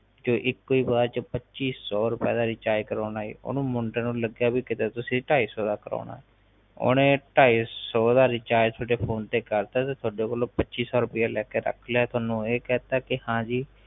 ਤੇ ਇਕੋ ਹੀ ਵਾਰ ਚ ਪੱਚੀ ਸੋ ਰੁ ਪਏ ਦਾ ਰਿਚਾਰਜ ਕਰਵਾਉਣ ਅਜੇ ਓਹਨੂੰ ਮੁੰਡੇ ਨੂੰ ਲੱਗਿਆ ਕਿ ਕੀਤੇ ਤੁਸੀ ਢਾਈ ਸੋ ਦਾ ਕਰਾਉਣਾ ਓਹਨੇ ਢਾਈ ਸੋ ਦਾ ਰਿਚਾਰਜ ਤੁਹਾਡੇ ਫੋਨ ਤੇ ਕਰਤਾ ਤੇ ਤੁਹਾਡੇ ਕੋਲੋਂ ਪੱਚੀ ਸੋ ਰੁਪਇਆ ਲੈਕੇ ਰੱਖ ਲਿਆ ਤੇ ਤੁਹਨੂੰ ਇਹ ਕਹਿਤਾ ਕਿ ਹਾਂ ਜੀ